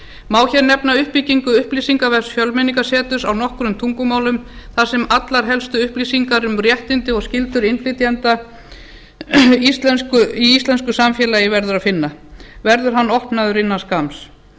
má hér nefna uppbyggingu upplýsingavefs fjölmenningarseturs á nokkrum tungumálum þar sem allar helstu upplýsingar um réttindi og skyldur innflytjenda í íslensku samfélagi verður að finna verður hann opnaður innan skamms